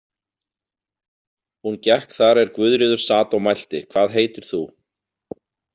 Hún gekk þar er Guðríður sat og mælti: „Hvað heitir þú“?